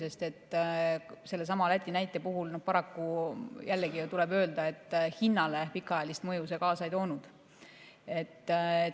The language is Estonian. Aga sellesama Läti näite puhul tuleb paraku öelda, et hinnale see pikaajalist mõju kaasa ei toonud.